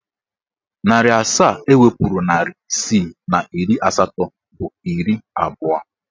Narị asaa ewepuru narị isii na iri asatọ bụ iri abụọ.